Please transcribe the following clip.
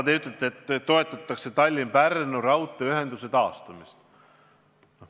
Te ütlete, et toetatakse Tallinna–Pärnu raudteeühenduse taastamist.